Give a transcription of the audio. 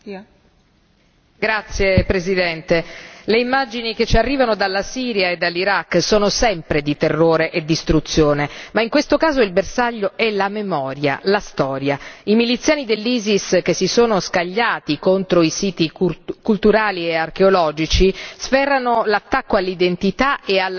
Signora Presidente, onorevoli colleghi, le immagini che ci arrivano dalla Siria e dall'Iraq sono sempre di terrore e distruzione, ma in questo caso il bersaglio è la memoria, la storia. I miliziani dell'Isis che si sono scagliati contro i siti culturali e archeologici sferrano un attacco all'identità e alla cultura di intere popolazioni.